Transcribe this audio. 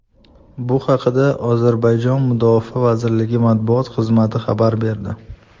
Bu haqda Ozarbayjon mudofaa vazirligi matbuot xizmati xabar berdi .